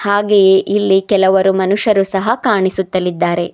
ಹಾಗೆಯೆ ಇಲ್ಲಿ ಕೆಲವರು ಮನುಷ್ಯರು ಸಹ ಕಾಣಿಸುತ್ತಲಿದ್ದಾರೆ.